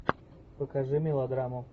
покажи мелодраму